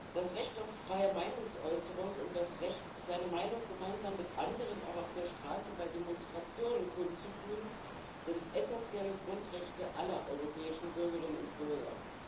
Das Recht auf freie Meinungsäußerung und das Recht, seine Meinung gemeinsam mit anderen auch auf der Straße bei Demonstrationen kundzutun, sind essentielle Grundrechte aller europäischen Bürgerinnen und Bürger.